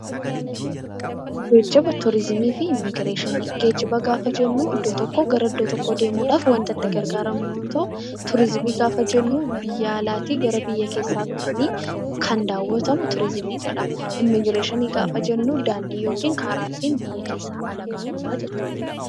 Geejjiba, Turiizimii fi Immigireeshinii Geejjiba gaafa jennu iddoo tokkoo gara iddoo tokkoo deemuu dhaaf wanta itti gargaaramnu yoo ta'u; Turiizimii gaafa jennu biyya alaa tii gara biyya keessaa dhufanii kan daawwatamu Turiizimii jedhama. Immigireeshinii gaafa jennu daandii yookiin karaa ittiin biyya keessaa ala baanu jechuu dha.